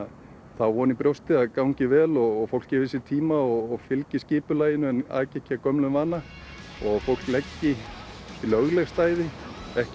þá von í brjósti að það gangi vel og fólk gefi sér tíma og fylgi skipulaginu en aki ekki af gömlum vana og fólk leggi í lögleg stæði ekki